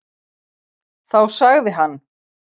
Þá sagði hann: